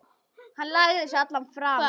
Hann lagði sig allan fram.